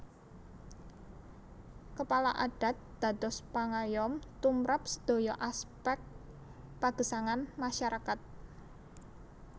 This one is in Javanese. Kepala Adat dados pangayom tumrap sedaya aspek pagesangan masyarakat